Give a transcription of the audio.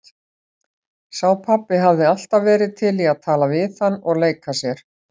Sá pabbi hafði alltaf verið til í að tala við hann og leika sér.